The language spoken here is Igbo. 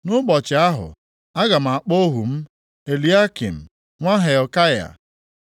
“Nʼụbọchị ahụ, aga m akpọ ohu m, Eliakịm, nwa Hilkaya.